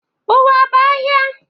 Ụwa bụ ahịa.